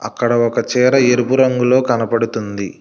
అక్కడ ఒక చేర ఎరుపు రంగులో కనపడుతుంది.